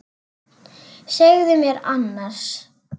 Segðu mér annars.